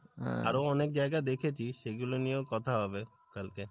আরো অনেক জায়গা দেখেছি সেগুলো নিয়েও কথা হবে, কালকে।